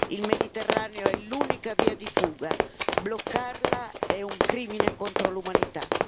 Il Mediterraneo è l'unica via di fuga, bloccarla è un crimine contro l'umanità.